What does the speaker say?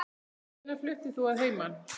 Hvenær fluttir þú að heiman?